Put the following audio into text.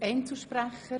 Gibt es Einzelsprecher?